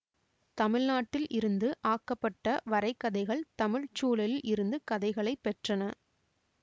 தமிழ்நாட்டில் இருந்து ஆக்கப்பட்ட வரைகதைகள் தமிழ் சூழலில் இருந்து கதைகளை பெற்றன